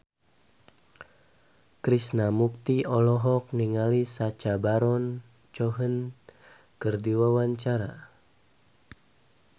Krishna Mukti olohok ningali Sacha Baron Cohen keur diwawancara